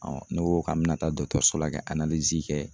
ne ko k'an me na so la kɛ kɛ